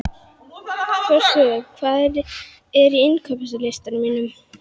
Frostúlfur, hvað er á innkaupalistanum mínum?